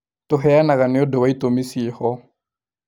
Tũheanaga nĩũndũ wa itumi ciĩho